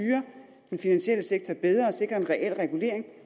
den finansielle sektor bedre og sikre en reel regulering